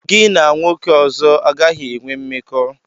Gị na nwoke ọzọ agaghị enwe mmekọ!